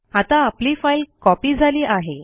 आता आपली file copy झाली आहे